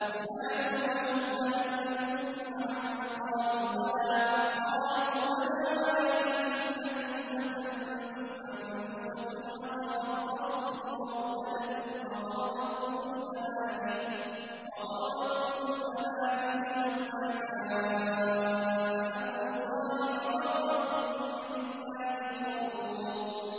يُنَادُونَهُمْ أَلَمْ نَكُن مَّعَكُمْ ۖ قَالُوا بَلَىٰ وَلَٰكِنَّكُمْ فَتَنتُمْ أَنفُسَكُمْ وَتَرَبَّصْتُمْ وَارْتَبْتُمْ وَغَرَّتْكُمُ الْأَمَانِيُّ حَتَّىٰ جَاءَ أَمْرُ اللَّهِ وَغَرَّكُم بِاللَّهِ الْغَرُورُ